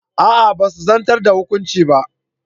A'a basu zartar da hukuncin ba.